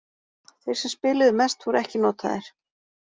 Þeir sem spiluðu mest voru ekki notaðir.